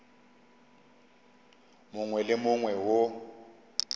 mongwe le wo mongwe wo